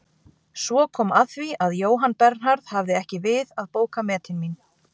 Svo kom að því að Jóhann Bernharð hafði ekki við að bóka metin mín.